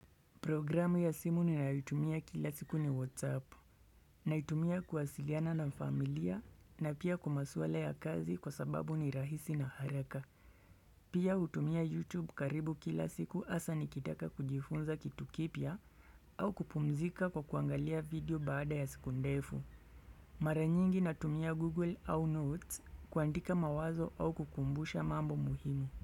Programu ya simu ninayoitumia kila siku ni WhatsApp, naitumia kuwasiliana na familia na pia kwa masuala ya kazi kwa sababu ni rahisi na haraka. Pia hutumia YouTube karibu kila siku hasa nikitaka kujifunza kitu kipya au kupumzika kwa kuangalia video baada ya siku ndefu. Maranyingi natumia Google au Notes kuandika mawazo au kukumbusha mambo muhimu.